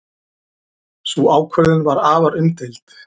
Sú ákvörðun var afar umdeild.